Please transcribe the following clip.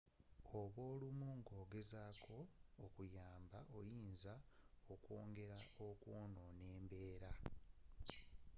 bwolumwa nga ogezaako okuyamba oyinza okwongera okwonoona embeera